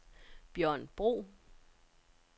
Bjørn Bro